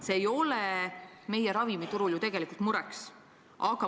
See ei ole meie ravimiturul ju tegelikult mure.